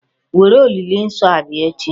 Were olili nsọ a bịa echi.